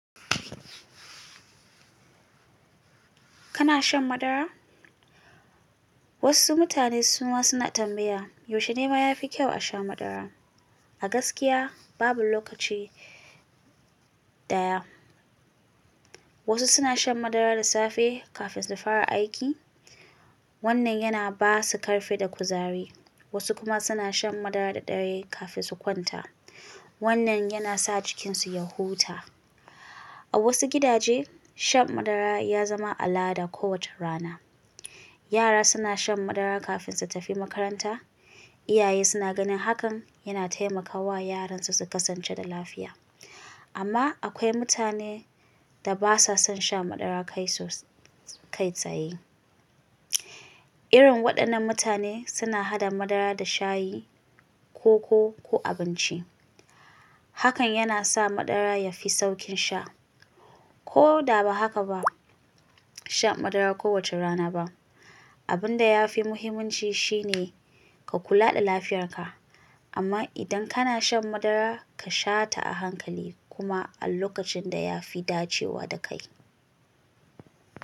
Kana shan madara? Wasu mutane suna tambaya, yaushe ne ma ya fi kyau a sha madara? A gaskiya babu lokaci ɗaya. Wasu suna shan madara da safe kafin su fara aiki. Wannan yana ba su ƙarfi da kuzari. Wasu kuma suna shan madara da dare kafin su kwanta. Wannan yana sa jikinsu ya huta. A wasu gidaje, shan madara ya zama al'ada kowace rana. Yara suna shan madara kafin su tafi makaranta. Iyaye suna ganin hakan yana taimakawa yaran su su kasance da lafiya. Amma akwai mutane da ba sa son shan madara kai tsaye. Irin waɗannan mutane suna haɗa madara da shayi, koko ko abinci. Hakan yana sa madara ya fi sauƙin sha. Ko da ba haka ba, sha madara kowace rana ba. Abin da ya fi muhimmanci shine ka kula da lafiyarka. Amma idan kana shan madara, ka sha ta a hankali kuma a lokacin da ya fi dacewa da kai.